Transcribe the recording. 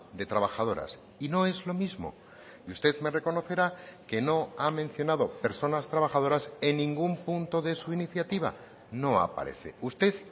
de trabajadoras y no es lo mismo y usted me reconocerá que no ha mencionado personas trabajadoras en ningún punto de su iniciativa no aparece usted